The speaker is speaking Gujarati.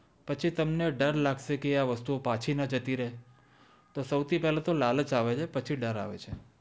પછી તમને ડર લાગશે કે આ વસ્તુ ઓ પાછી ના જતી રે તો સૌથી પેલા તો લાલચ આવે છે પછી ડર આવે છે